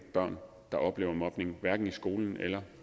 børn der oplever mobning hverken i skolen eller